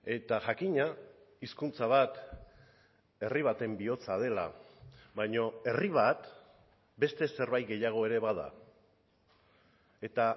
eta jakina hizkuntza bat herri baten bihotza dela baina herri bat beste zerbait gehiago ere bada eta